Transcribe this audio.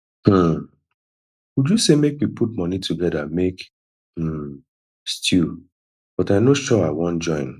um uju say make we put money together make um stew but i no sure i wan join